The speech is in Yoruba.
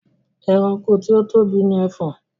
Ẹranko tí ó tóbi ni Ẹfọ̀n